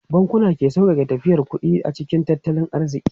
Bankunan ke sauƙaƙe tafiyar da kuɗi a cikin tattalin arziki.